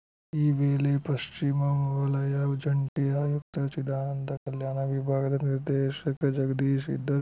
ಈ ವೇಳೆ ಪಶ್ವಿಮವಲಯ ಜಂಟಿ ಆಯುಕ್ತ ಚಿದಾನಂದ ಕಲ್ಯಾಣ ವಿಭಾಗದ ನಿರ್ದೇಶಕ ಜಗದೀಶ್‌ ಇದ್ದರು